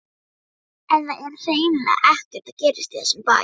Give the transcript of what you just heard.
En það er hreinlega ekkert að gerast í þessum bæ.